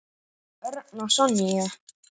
Örn og Sonja.